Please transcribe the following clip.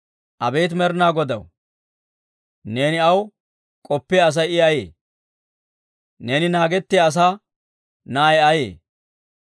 Abeet Med'inaa Godaw, neeni aw k'oppiyaa Asay I ayee? Neeni naagetiyaa asaa na'ay ayee?